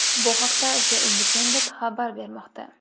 Bu haqda The Independent xabar bermoqda .